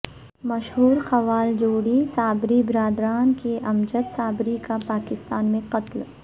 مشہور قوال جوڑی صابری برادران کے امجد صابری کا پاکستان میں قتل